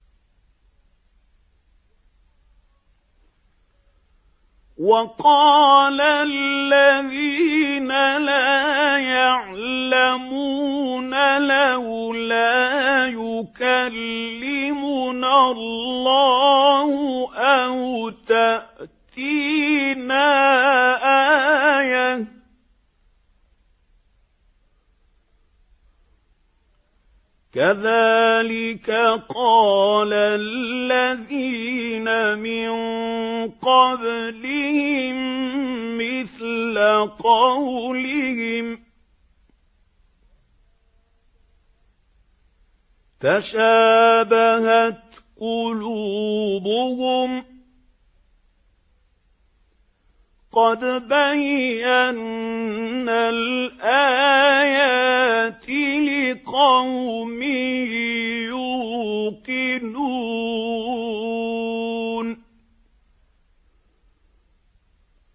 وَقَالَ الَّذِينَ لَا يَعْلَمُونَ لَوْلَا يُكَلِّمُنَا اللَّهُ أَوْ تَأْتِينَا آيَةٌ ۗ كَذَٰلِكَ قَالَ الَّذِينَ مِن قَبْلِهِم مِّثْلَ قَوْلِهِمْ ۘ تَشَابَهَتْ قُلُوبُهُمْ ۗ قَدْ بَيَّنَّا الْآيَاتِ لِقَوْمٍ يُوقِنُونَ